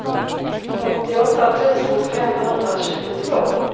åttioåtta tusen femhundratjugotvå